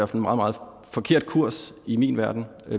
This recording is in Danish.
meget meget forkert kurs i min verden